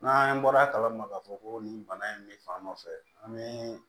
N'an bɔra kala ma k'a fɔ ko nin bana in bɛ fan dɔ fɛ an bɛ